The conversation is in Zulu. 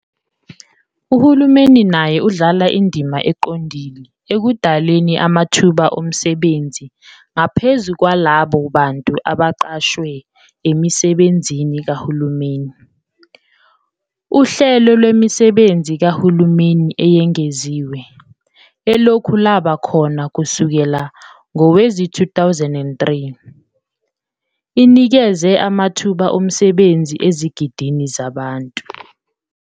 Uhulumeni naye udlala indima eqondile ekudaleni amathuba omsebenzi ngaphezu kwalabo bantu abaqashwe emisebenzini kahulumeni. Uhlelo Lwemisebenzi Kahulumeni Eyengeziwe, elokhu lwaba khona kusukela ngowezi2003, inikeze amathuba omsebenzi ezigidini zabantu.